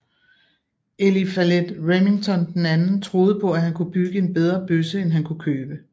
Eliphalet Remington II troede på at han kunne bygge en bedre bøsse end han kunne købe